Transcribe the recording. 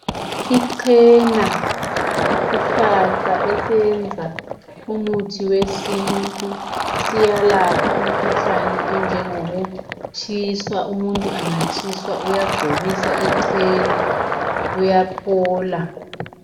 Ichena yisihlahla esesiyenza umuthi wesintu siyalapha imikhuhlane enjengokutshiswa, umuntu engatshiswa uyagcobisa ichena, uyaphola.